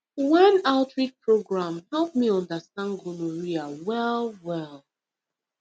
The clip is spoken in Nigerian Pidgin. one outreach program help me understand gonorrhea well well